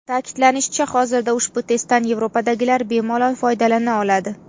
Ta’kidlanishicha, hozirda ushbu testdan Yevropadagilar bemalol foydalana oladi.